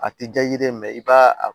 A ti ja i ye dɛ i b'a a